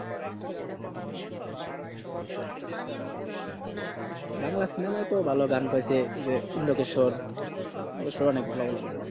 বাংলা সিনেমায় তো ভালো গান করসে যে ইন্দোকেশর ইন্দোকেশর অনেক ভালো ভালো গান করেছে